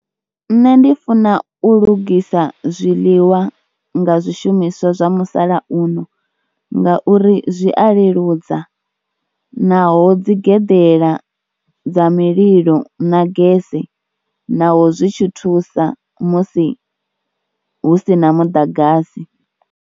Nṋe ndi funa u lugisa zwiḽiwa nga zwishumiswa zwa musalauno ngauri zwi a leludza naho dzi geḓela dza mililo na gese naho zwi tshi thusa musi hu si na muḓagasi.